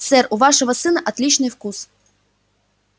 сэр у вашего сына отличный вкус